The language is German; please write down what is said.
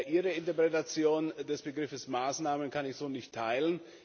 Ihre Interpretation des Begriffs Maßnahmen kann ich so nicht teilen.